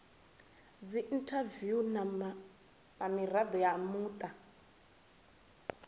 dziinthaviwu na mirado ya muta